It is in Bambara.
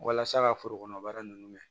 Walasa ka forokɔnɔ baara nunnu mɛn